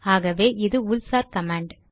ஆகவே இது உள் சார் கமாண்ட்